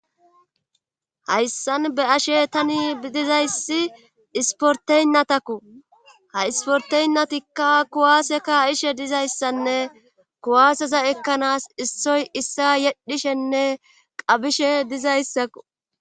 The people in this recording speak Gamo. hayssan be ashe tani bidizayssi isporteynnatakko ha isporteynnatikka kuwaase kaa'ishe dizayssanne kuwaaseza ekkanaas issoy issa yedhishenne qabishe dizayssakko.